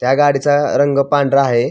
त्या गाडीचा रंग पांढरा आहे.